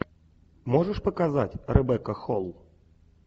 можешь показать ребекка холл